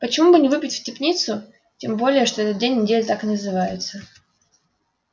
почему бы не выпить в тяпницу тем более что этот день недели так и называется